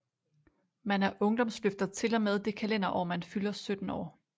Man er ungdomsløfter til og med det kalenderår man fylder 17 år